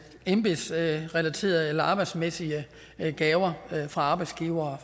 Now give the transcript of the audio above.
embedsrelaterede eller arbejdsmæssige gaver fra arbejdsgivere